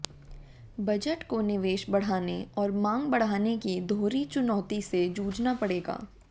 budget को निवेश बढ़ाने और मांग बढ़ाने की दोहरी चुनौती से जूझना पड़ेगा